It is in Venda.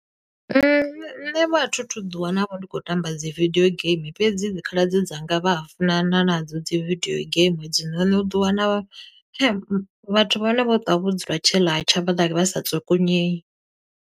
Nṋe vho a thu thu ḓi wana vho ndi khou tamba dzi vidio game, fhedzi dzi khaladzi dzanga vha a funana nadzo dzi vidio game hedzinoni. U ḓo wana vhathu vha hone vho ṱwa vho dzula tshe ḽatsha vha ḓa vha sa tsukunyeyi.